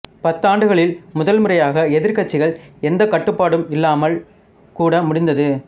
பத்தாண்டுகளில் முதல்முறையாக எதிர்க்கட்சிகள் எந்தக் கட்டுப்பாடும் இல்லாமல் கூட முடிந்தது